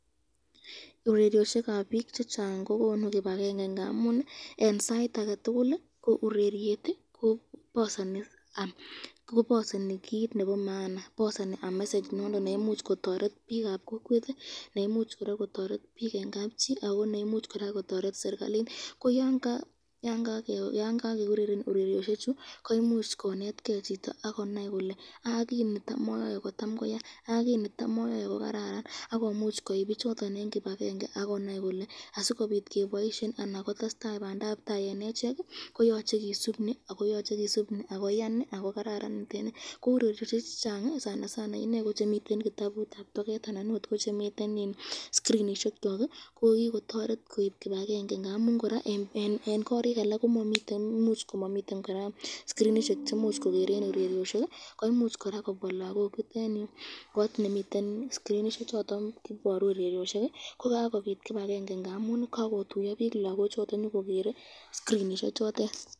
Ureryosyikab bik chechang kokonu kibakenge ngamun eng sait ak